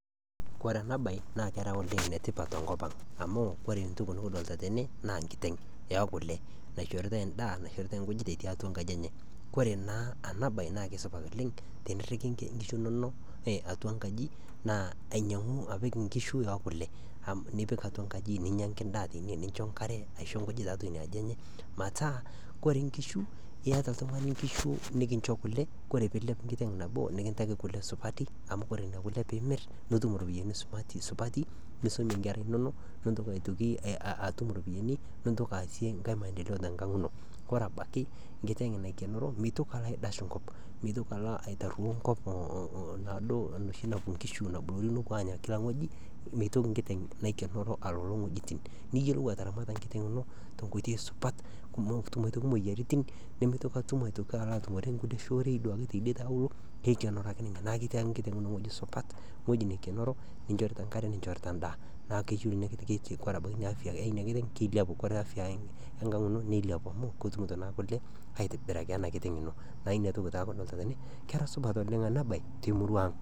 Kore enabaye naa kera oleng netipat te nkopang amu kore ntoki nikidolita tene naa nkiteng ee kule naishoritae indaa ,naishoritae nkujit etii atua nkaji enye . Kore naa enabaye naa kesupat oleng teniriki nkishu inono atua nkaji naa ainyang'u apik nkishu ookule ,nipik atua nkaji ninyangaki indaa teine, nincho nkare aisho nkujit tiatua inia aji enye mataa kore nkishu ieta ltungani nkishu nikincho kule, kore piilep nkiteng nabo nikintaki kule supati amu kore nena kule piimir nitum iropiyiani supati ,nisumie nkera inono, nintoki aitoki atum iropiyiani nitoki aasie likae lkasi te nkang ino. Ore abaki nkiteng naikenero meitoki alo aidash nkop, meitoki alo aitario nkop naado noshi napo nkishu naboluno aanya kila ngoji, meitoki nkiteng naikenero aloolo ngojitin. Niyolou ataramata nkiteng ino te nkoitoi supat, nemotum imoyiaritin ,nemeitoki atum aitoki alo atumore ngulir shoorei duake tedie te alo, keikenero ake ninye, naa ketii ake nkiteng ino wueji supat ngoji naikenero ninchorita nkare, ninchorita indaa, naa keyeu inankiteng kore abaki inia afiya eina kiteng, kesapuk kore afiaya enkang ino neiliapu amu ketumto naa kule aitibiraki e ana kiteng ino, naa inia toki taa kadolita tene, kera supat oleng ana baye te murua aang.